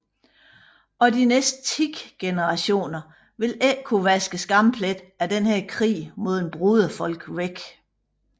Og de næste ti generationer vil ikke kunne vaske skampletten af denne krig mod et broderfolk væk